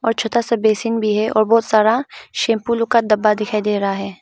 और छोटा सा बेसिन भी है और बहुत सारा शैंपू लोग का डब्बा दिखाई दे रहा है।